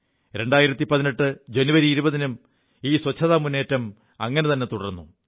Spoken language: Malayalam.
2018 ജനുവരി 20 നും ഈ ശുചിത്വജനമുറ്റേം അങ്ങനെത െതുടർു